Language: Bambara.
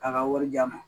A ka wari di yan